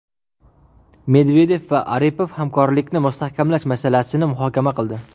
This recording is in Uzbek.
Medvedev va Aripov hamkorlikni mustahkamlash masalasini muhokama qildi.